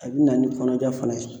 A bi na ni kɔnɔja fana ye